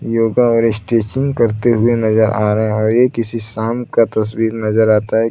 योगा और स्टिचिंग करते हुए नजर आ रहे हैं और ये किसी शाम का तस्वीर नजर आता है।